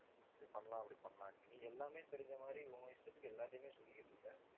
இப்படி பண்ணலாம், அப்படி பண்ணலாம்ன்னு நீ எல்லாமே தெரிஞ்ச மாதிரி உன் இஷ்டத்துக்கு எல்லாத்தையுமே சொல்லிக்கிட்டு இருக்க.